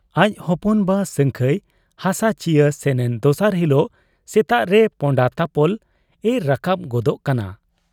ᱟᱡ ᱦᱚᱯᱚᱱ ᱵᱟ ᱥᱟᱹᱝᱠᱷᱟᱹᱭ ᱦᱟᱥᱟ ᱪᱤᱭᱟᱹ ᱥᱮᱱᱮᱱ ᱫᱚᱥᱟᱨ ᱦᱤᱞᱚᱜ ᱥᱮᱛᱟᱜᱨᱮ ᱯᱚᱸᱰᱟᱛᱟᱯᱚᱞ ᱮ ᱨᱟᱠᱟᱵ ᱜᱚᱫᱚᱜ ᱠᱟᱱᱟ ᱾